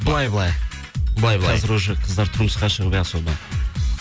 былай былай былай былай қазір уже қыздар тұрмысқа шығып не особо